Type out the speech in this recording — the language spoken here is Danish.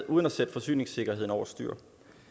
uden at sætte forsyningssikkerheden over styr